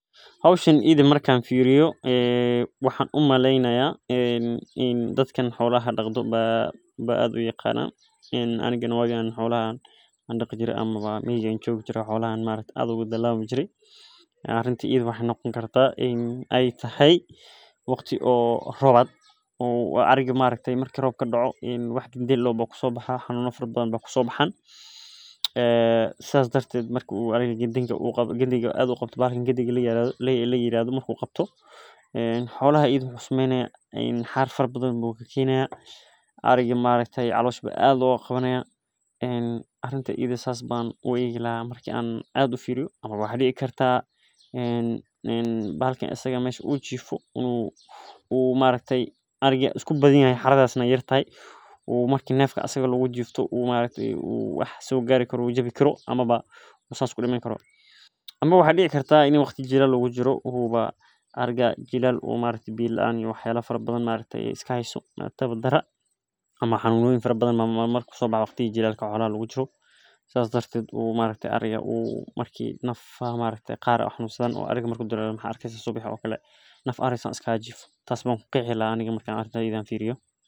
Hoshan iyada marka annfiriyo hadaka xolaha daqdan aya garanayin maxee noqoni kartaa waqti rod marki gandi marku kusobaxo calosha laga qabte ama waxaa doci kartaa in ee xerada eeyartahay ama xili abared lagu jiro oo biya laan ee jirto iyo cunto laan ee jirto ama xanun u hayo ama waxaa dici karaa In u sodarge oo u hurde aya dici kartaa marka sas ayan ku qiyasi laha.